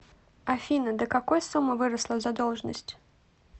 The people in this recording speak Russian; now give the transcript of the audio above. афина до какой суммы выросла задолженность